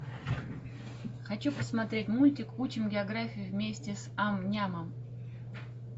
хочу посмотреть мультик учим географию вместе с ам нямом